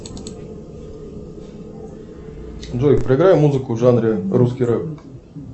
джой проиграй музыку в жанре русский рэп